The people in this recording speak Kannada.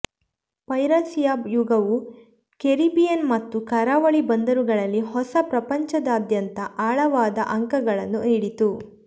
ಪೈರಸಿಯ ಯುಗವು ಕೆರಿಬಿಯನ್ ಮತ್ತು ಕರಾವಳಿ ಬಂದರುಗಳಲ್ಲಿ ಹೊಸ ಪ್ರಪಂಚದಾದ್ಯಂತ ಆಳವಾದ ಅಂಕಗಳನ್ನು ನೀಡಿತು